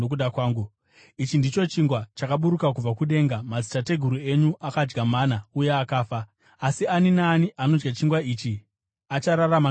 Ichi ndicho chingwa chakaburuka kubva kudenga. Madzitateguru enyu akadya mana uye akafa, asi ani naani anodya chingwa ichi achararama nokusingaperi.”